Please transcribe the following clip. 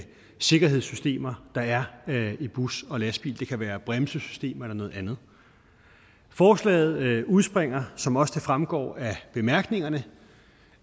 sikkerhedssystemer der er i busser og lastbiler det kan være bremsesystem eller noget andet forslaget udspringer som det også fremgår af bemærkningerne